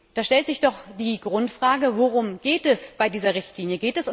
Da stellt sich die Grundfrage Worum geht es bei dieser Richtlinie?